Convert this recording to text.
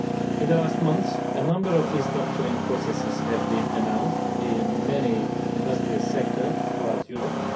In the past months, a number of restructuring processes have been announced in many industrial sectors throughout Europe.